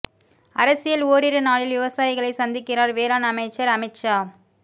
அரசியல் ஓரிரு நாளில் விவசாயிகளை சந்திக்கிறார் வேளாண் அமைச்சர் அமித் ஷா